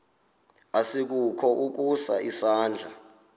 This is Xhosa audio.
asikukho ukusa isandla